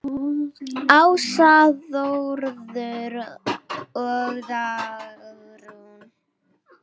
Ása, Þórður og Dagrún.